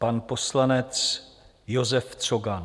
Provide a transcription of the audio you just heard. Pan poslanec Josef Cogan.